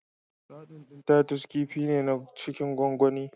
Sardin ɗin Titus kifi ne na cikin gwangwani.